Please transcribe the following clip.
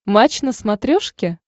матч на смотрешке